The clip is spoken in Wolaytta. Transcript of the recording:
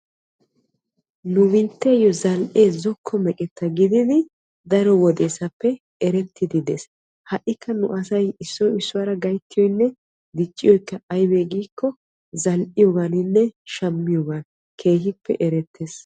Nu biittessi zali'ee zokko meqetta gididdi erettiddi de'ees ha'ikka nu asay issoy issuwara gayttiyonne dicciyoy aybbe giikko zali'iyoganne shammiyooga keehippe ereetes.